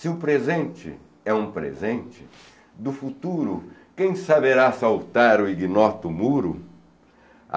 Se o presente é um presente, do futuro quem saberá saltar o ignoto muro?